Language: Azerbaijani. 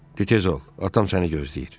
De tez ol, atam səni gözləyir.